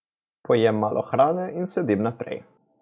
Pojem malo hrane in sedim naprej.